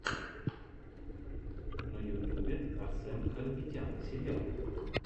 на ютюбе арсэн харапетян сериал